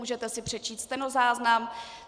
Můžete si přečíst stenozáznam.